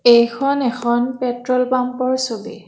এইখন এখন পেট্ৰল পাম্পৰ ছবি।